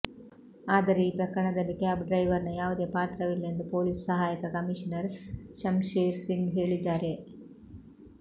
ಆದರೆ ಈ ಪ್ರಕರಣದಲ್ಲಿ ಕ್ಯಾಬ್ ಡ್ರೈವರ್ ನ ಯಾವುದೇ ಪಾತ್ರವಿಲ್ಲ ಎಂದು ಪೊಲೀಸ್ ಸಹಾಯಕ ಕಮೀಷನರ್ ಶಮ್ಶೇರ್ ಸಿಂಗ್ ಹೇಳಿದ್ದಾರೆ